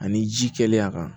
Ani ji kɛlen a kan